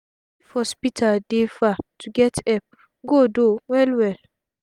if hospital dey far to get epp go tough well well